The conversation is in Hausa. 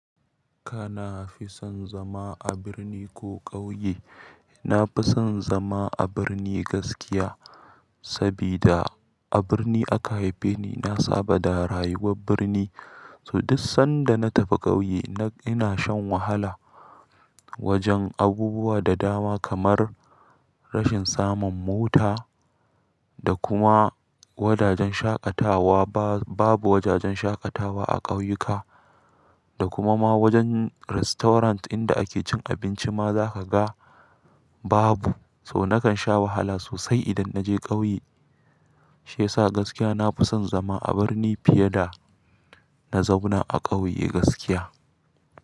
Kana fi son zama a birni ko ƙauye? Na fi son zama a birni gaskiya, sabida a birni aka haife ni. Na saba da rayuwar birni, to duk sanda na tafi ƙauye ina shan wahala wajen abubuwa da dama kamar rashin samun mota da kuma wajajen shaƙatawa. Babu wajajen shaƙatawa a ƙauyuka da kuma ma wajen restaurant inda ake cin abinci ma za ka ga babu. To nakan sha wahala sosai idan na je ƙauye, shi yasa gaskiya na fi son zama a birni fiye da na zauna a ƙauye gaskiya.